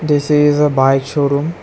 This is a bike showroom.